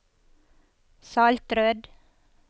Saltrød